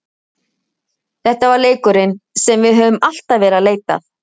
Þetta var leikurinn sem við höfðum alltaf verið að leita að.